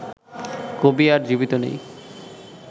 কবি আর জীবিত নেই